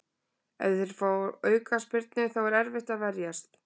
Ef þeir fá aukaspyrnu þá er erfitt að verjast.